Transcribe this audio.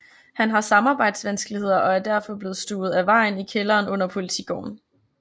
Han har samarbejdsvanskeligheder og er derfor blevet stuvet af vejen i kælderen under Politigården